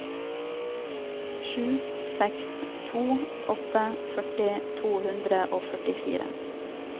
sju seks to åtte førti to hundre og førtifire